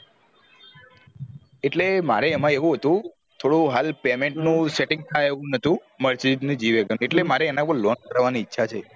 એટલે મારે એમાં ઇવું હતું થોડું હાલ payment નું setting થાય એવું નતુ mercedes g wagon એટલે મારે એના પર loan કરવા ઈચ્છા છે